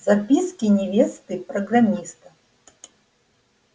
записки невесты программиста